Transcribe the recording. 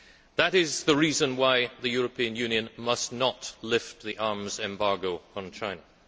That is the reason why the European Union must not lift the arms embargo on China.